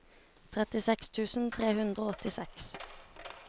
trettiseks tusen tre hundre og åttiseks